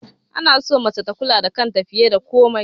Ana so mace tana kula da kanta fiye da komai